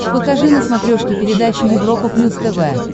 покажи на смотрешке передачу европа плюс тв